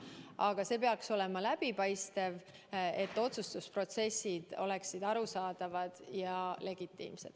Aga see peaks olema läbipaistev, et otsustusprotsessid saaksid olla arusaadavad ja legitiimsed.